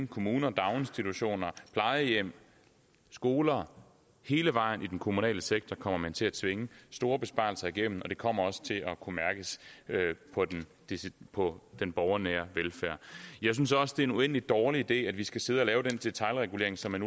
kommuner daginstitutioner plejehjem skoler hele vejen igennem den kommunale sektor kommer man til at tvinge store besparelser igennem og det kommer også til at kunne mærkes på den borgernære velfærd jeg synes også det er en uendelig dårlig idé at vi skal sidde og lave den detailregulering som man